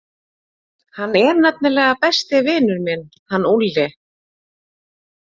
Hann er nefnilega besti vinur minn, hann Úlli.